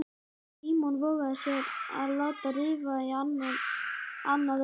Símon vogaði sér að láta rifa í annað augað.